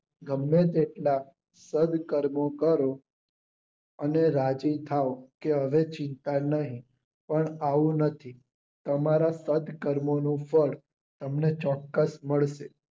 ગમે તેટલા કાળ કરો અને રાજી થાવ કે હવે ચિંતા નહિ પણ આવું નથી તમારા સ્પષ્ટ કર્મોનું ફળ તમને ચોક્કસ મળે છે.